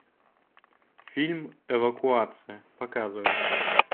фильм эвакуация показывай